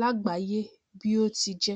lágbàáyé bí ó ti jẹ